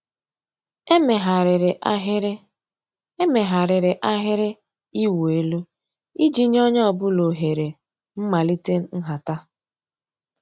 Èméghàrị́rị́ àhị́rị́ Èméghàrị́rị́ àhị́rị́ ị̀wụ́ èlú ìjì nyé ónyé ọ̀ bụ́là òhèré m̀màlíté ǹhàtá.